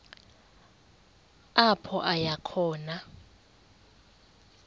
apho aya khona